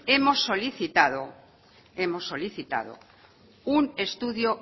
hemos solicitado un estudio